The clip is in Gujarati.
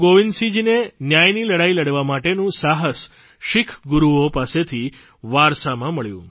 ગુરૂ ગોવિંદસિંહજીને ન્યાયની લડાઇ લડવા માટેનું સાહસ શીખ ગુરૂઓ પાસેથી વારસમાં મળ્યું